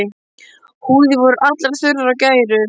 Húðir voru allar þurrar og gærur.